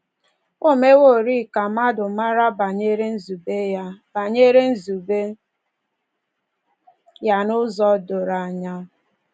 O meworị ka mmadụ mara banyere nzube ya banyere nzube ya n’ụzọ doro anya.